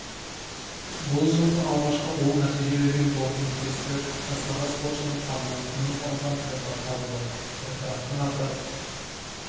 бұл жылғы алғашқы оң нәтиже берген допинг-тесті жастағы спортшының қанынан тыйым салынған препарат табылды препараттың аты